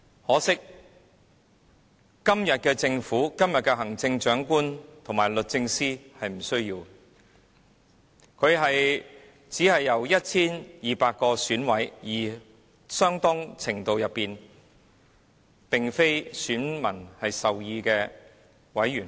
可惜，今天的政府、行政長官和律政司不需要面對這種後果，因他只是由 1,200 名選委，相當程度上並非由選民授權的選委選出。